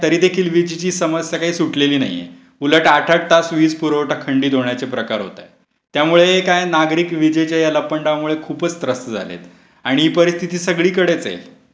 देखील विजेची समस्या सुटलेली नाहीये. उलट आठ आठ तास वीजपुरवठा खंडित होण्याचे प्रकार होत आहे. त्यामुळे काय नागरिक विजेच्या या लपंडावामुळे खूपच त्रस्त झालेत. आणि ही परिस्थिती सगळीकडेच आहे.